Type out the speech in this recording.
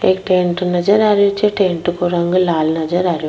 एक टेंट नजर आ रहियो छे टेंट को रंग लाल नजर आ रहियो।